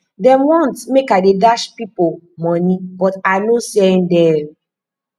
dem want make i dey dash pipo moni but i no send dem